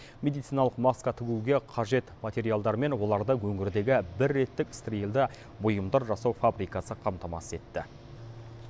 медициналық маска тігуге қажет материалдармен оларды өңірдегі бір реттік стерильді бұйымдар жасау фабрикасы қамтамасыз етті